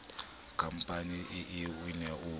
khampaneng ee o ne o